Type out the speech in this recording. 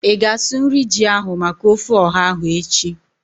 Ịga asụ nri ji ahu maka ofe ọha ahu echi?